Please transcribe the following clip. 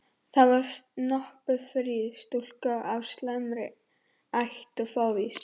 Það var snoppufríð stúlka af slæmri ætt og fávís.